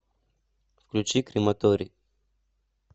включи крематорий